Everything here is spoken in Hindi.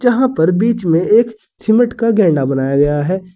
यहां पर बीच में एक सीमेंट का गेंडा बनाया गया है।